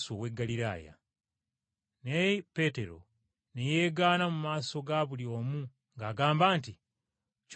Naye Peetero ne yeegaana mu maaso ga buli omu ng’agamba nti, “Ky’oyogerako sikimanyi.”